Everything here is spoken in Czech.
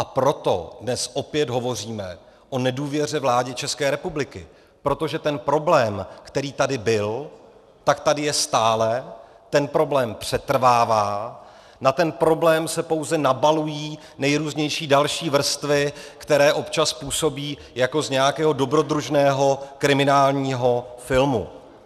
A proto dnes opět hovoříme o nedůvěře vládě České republiky, protože ten problém, který tady byl, tak tady je stále, ten problém přetrvává, na ten problém se pouze nabalují nejrůznější další vrstvy, které občas působí jako z nějakého dobrodružného kriminálního filmu.